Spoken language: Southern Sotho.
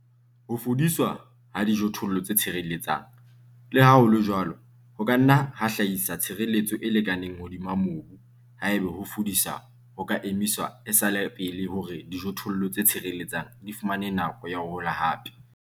Ho fudiswa ha dijothollo tse tshireletsang, le ha ho le jwalo, ho ka nna ha hlahisa tshireletso e lekaneng hodima mobu ha eba ho fudisa ho ka emiswa e sa le pele hore dijothollo tse tshireletsang di fumane nako ya ho hola hape.